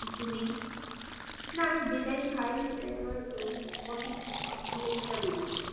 কিছু নেই, না আমি যেটাই খাই সেটাই আমার উম potty, potty দিয়ে সেটা বেরিয়ে যায়.